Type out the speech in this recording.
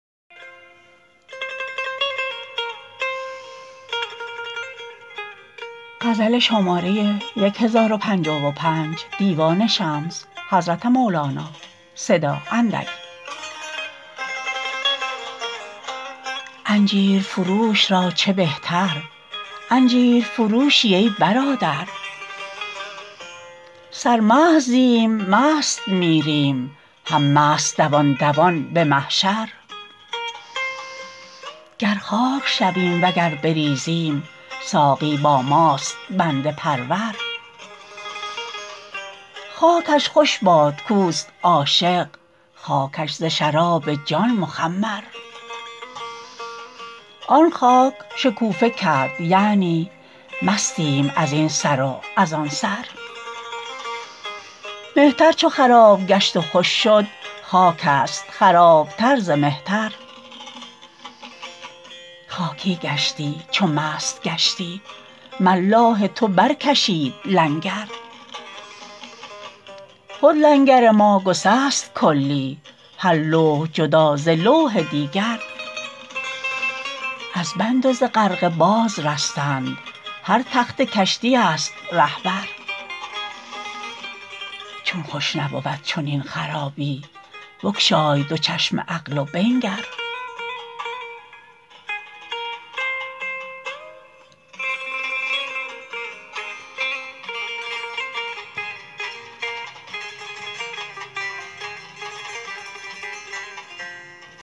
انجیرفروش را چه بهتر انجیرفروشی ای برادر سرمست زییم مست میریم هم مست دوان دوان به محشر گر خاک شویم وگر بریزیم ساقی با ماست بنده پرور خاکش خوش باد کوست عاشق خاکش ز شراب جان مخمر آن خاک شکوفه کرد یعنی مستیم از این سر و از آن سر مهتر چو خراب گشت و خوش شد خاکست خرابتر ز مهتر خاکی گشتی چو مست گشتی ملاح تو برکشید لنگر خود لنگر ما گسست کلی هر لوح جدا ز لوح دیگر از بند و ز غرقه بازرستند هر تخته کشتی است رهبر چون خوش نبود چنین خرابی بگشای دو چشم عقل و بنگر